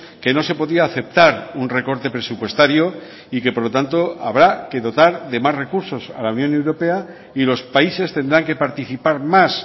que no se podía aceptar un recorte presupuestario y que por lo tanto habrá que dotar de más recursos a la unión europea y los países tendrán que participar más